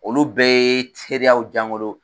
Olu bɛɛ ye seereyaw diya n bolo